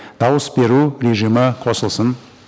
дауыс беру режимі қосылсын